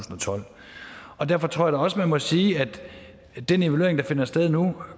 og tolv derfor tror jeg også at man må sige at den evaluering der finder sted nu